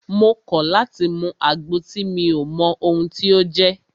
Mo kọ̀ láti mú àgbo tí mi ò mọ ohun tí o jẹ́!